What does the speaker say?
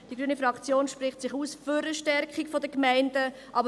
Die grüne Fraktion spricht sich für eine Stärkung der Gemeinde aus.